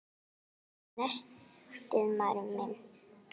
Og nestið, maður minn!